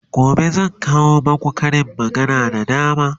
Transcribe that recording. gobe zan kawo maku Karin magana da dama